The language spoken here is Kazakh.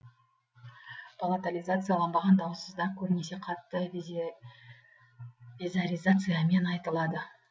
палатализацияланбаған дауыссыздар көбінесе қатты везаризациямен айтылады